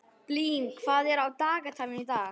Blín, hvað er á dagatalinu í dag?